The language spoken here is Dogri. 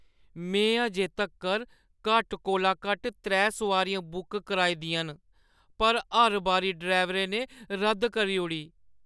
मैं अजें तक्कर घट्ट कोला घट्ट त्रै सोआरियां बुक कराई दियां न, पर हर बारी ड्राइवरै ने रद्द करी ओड़ी।